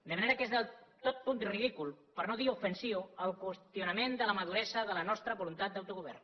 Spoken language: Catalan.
de manera que és totalment ridícul per no dir ofensiu el qüestionament de la maduresa de la nostra voluntat d’autogovern